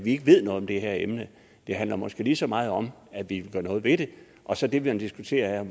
ikke ved noget om det her emne det handler måske lige så meget om at vi vil gøre noget ved det og så det man diskuterer her